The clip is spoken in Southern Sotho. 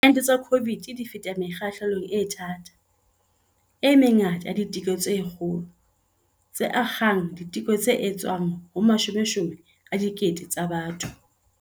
Diente tsa COVID-19 di feta mekgahlelong e thata, e mengata ya diteko tse kgolo, tse akgang diteko tse etswang ho mashomeshome a dikete tsa batho.